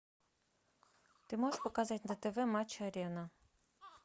ты можешь показать на тв матч арена